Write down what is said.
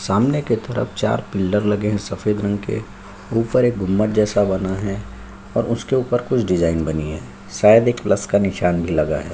सामने के तरफ चार पिलर लगे है सफ़ेद रंग के ऊपर एक गुम्बद जैसा बना है और उसके ऊपर कुछ डिजाईन बनी है शायद एक प्लस का निशान भी लगा है।